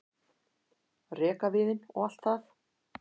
rekaviðinn og allt það.